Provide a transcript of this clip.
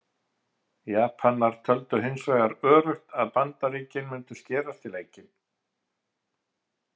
Japanar töldu hins vegar öruggt að Bandaríkin mundu skerast í leikinn.